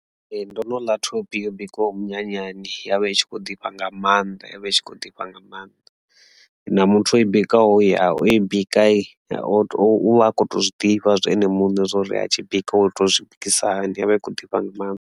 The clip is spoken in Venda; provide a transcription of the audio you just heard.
Ee ndo no ḽa thophi yo bikwaho minyanyani ya vha i tshi kho ḓifha nga maanḓa i vha i tshi kho ḓifha nga maanḓa, na muthu a i bikwaho ya o i bika to uvha a kho to zwiḓivha zwo ene muṋe zwori a tshi bika wa ita zwi bikisa hani yovha i tshi kho ḓifha nga maanḓa.